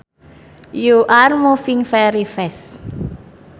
you are moving very fast